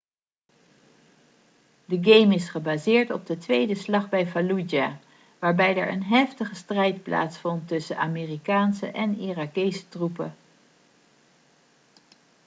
de game is gebaseerd op de tweede slag bij fallujah waarbij er een heftige strijd plaatsvond tussen amerikaanse en irakese troepen